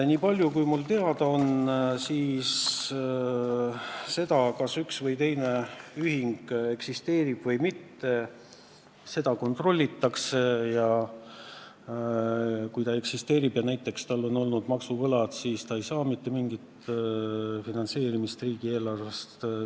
Minu teada seda, kas üks või teine ühing eksisteerib või mitte, kontrollitakse, ja kui ta eksisteerib ja näiteks tal on olnud maksuvõlad, siis ta ei saa mitte mingit finantseerimist riigieelarvest.